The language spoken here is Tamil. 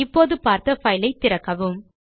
இப்போது பார்த்த பைல் ஐ திறக்கவும்